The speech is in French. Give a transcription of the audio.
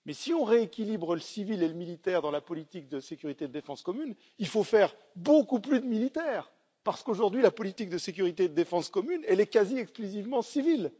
Mais si on rééquilibre le civil et le militaire dans la politique de sécurité de défense commune, il faut faire beaucoup plus de militaire parce qu'aujourd'hui, la politique de sécurité et de défense commune est quasi exclusivement civile!